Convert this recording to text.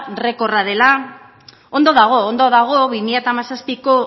errekorra dela ondo dago ondo dago bi mila